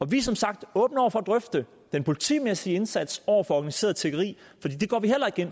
vi er som sagt åbne over for at drøfte den politimæssige indsats over for organiseret tiggeri